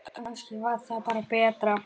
Kannski var það bara betra.